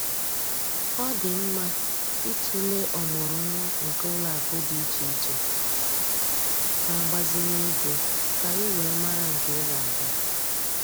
Ọ dị mma ịtụlee ọmụrụnwa nke ụlọakụ dị iche iche na-agbazinye ego ka ị wee mara nke ị ga-aga